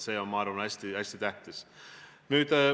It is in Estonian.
See on, ma arvan, hästi tähtis.